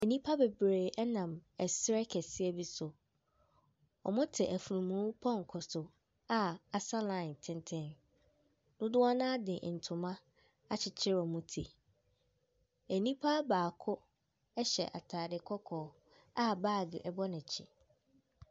Ɛnipa bebree ɛnam ɛserɛ kɛseɛ bi so. Ɔmo te afunumuu pɔnkɔ so a asa lae tenten. Dodoɔ naa de ntoma akyekyere ɔmo ti. Ɛnipa baako ɛhyɛ ataade kɔkɔɔ a baage ɛbɔ n'akyi.